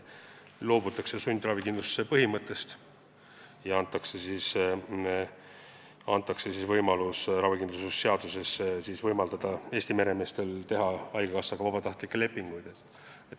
Loobutakse sundravikindlustuse põhimõttest ja antakse ravikindlustuse seadusega Eesti meremeestele võimalus haigekassaga vabatahtlikke lepinguid sõlmida.